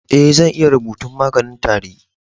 Eh, zan iya rubutan maganin tari.